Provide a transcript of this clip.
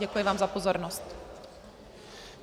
Děkuji vám za pozornost.